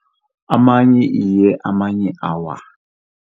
Amanye iye, amanye awa.